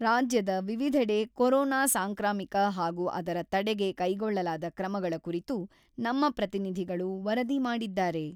ರಾಜ್ಯದ ವಿವಿಧೆಡೆ ಕೊರೋನಾ ಸಾಂಕ್ರಾಮಿಕ ಹಾಗೂ ಅದರ ತಡೆಗೆ ಕೈಗೊಳ್ಳಲಾದ ಕ್ರಮಗಳ ಕುರಿತು ನಮ್ಮ ಪ್ರತಿನಿಧಿಗಳು ವರದಿ ಮಾಡಿದ್ದಾರೆ.